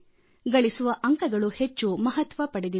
ಗಳಿಸುವ ಅಂಕಗಳು ಹೆಚ್ಚು ಮಹತ್ವ ಪಡೆದಿವೆ